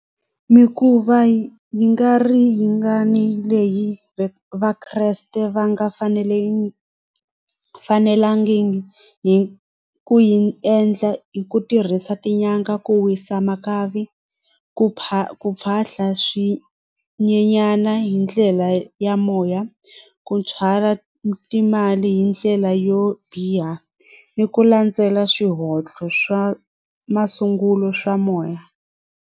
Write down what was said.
Mikhuva yi nga ri yi nga ni leyi Vakreste va nga fanelangiki hi ku yi endla hi ku tirhisa tinyanga ku wisa makavi ku ku phahla swinyenyana hi ndlela ya moya ku timali hi ndlela yo biha ni ku landzela swihoxo swa masungulo swa moya.